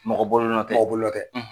Mɔgɔ bolonɔn tɛ mɔgɔbolonɔn tɛ.